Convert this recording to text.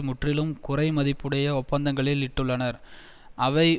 முற்றிலும் குறைமதிப்புடைய ஒப்பந்தங்களில் இட்டுள்ளனர் அவை